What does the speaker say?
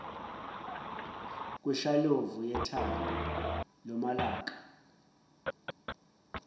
kweshalovu yethambo lomalaka